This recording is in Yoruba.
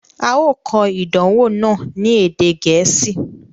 A o kọ̀ idànwọ̀ náà ni èdè Gẹẹsi